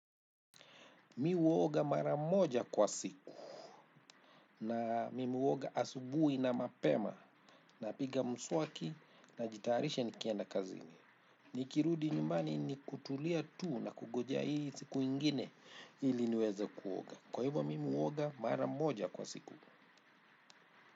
Mi huoga mara moja kwa siku na mimi huoga asubuhi na mapema napiga mswaki najitarisha nikienda kazini. Nikirudi nyumbani ni kutulia tu na kungojea hii siku ingine ili niweze kuoga. Kwa hivyo mimi huoga mara moja kwa siku.